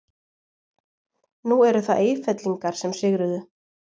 Nú eru það Eyfellingar sem sigruðu.